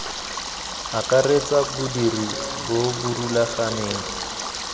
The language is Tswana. akaretsa bodiri bo bo rulaganeng